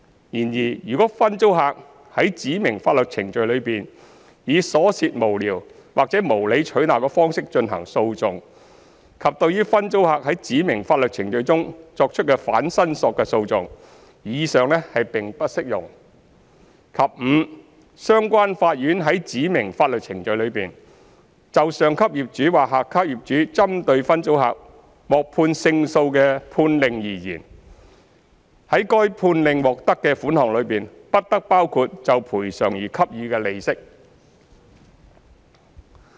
然而，如分租客在指明法律程序中以瑣屑無聊或無理取鬧的方式進行訴訟，以及對於分租客在指明法律程序中作出的反申索的訟費，以上並不適用；及五相關法院在指明法律程序中，就上級業主或下級業主針對分租客獲判勝訴的判令而言，在該判令獲得的款項中，不得包括就賠償而給予的利息。